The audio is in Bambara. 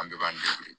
An bɛɛ b'an dege